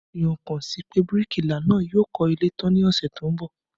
Wọ́n fi ọkàn sí pé bíríkìlà náà yóò kọ́ ilé tán ní ọ̀sẹ̀ tó ń bọ̀